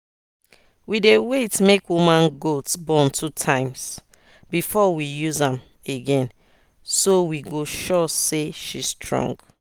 we dey wait make woman goat born two times before we use am again so we go sure say she strong.